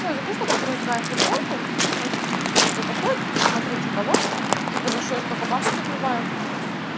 я захожу такая переодеваю футболку он типа заходит такой посмотреть что кого типа за что я столько бабок отливаю